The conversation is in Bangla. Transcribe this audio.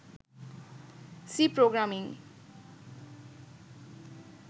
C programming